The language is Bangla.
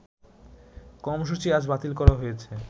কর্মসূচি আজ বাতিল করা হয়েছে